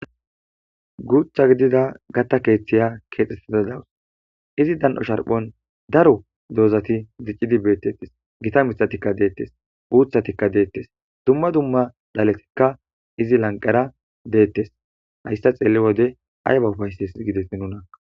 Guutha gidida gatta keeththiya keexxettida dawus izi dan7o sharphon daro doozati ziccidi beettettes gita mitatikka deettes uuthatikka deettes dumma dumma dhaletikka izi lanqera deettes hayssa xeelli wode ayba ufayses gides nuna.